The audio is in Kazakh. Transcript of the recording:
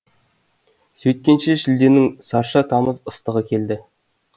сөйткенше шілденің сарша тамыз ыстығы келді